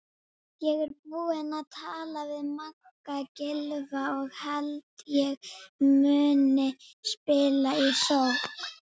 Ég er búinn að tala við Magga Gylfa og held ég muni spila í sókn.